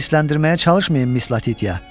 Məni hırsətləndirməyə çalışmayın Miss Latitya.